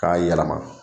K'a yɛlɛma